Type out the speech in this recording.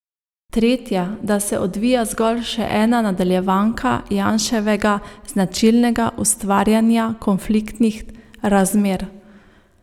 Tretja, da se odvija zgolj še ena nadaljevanka Janševega značilnega ustvarjanja konfliktnih razmer.